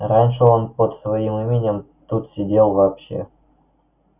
раньше он под своим именем тут сидел вообще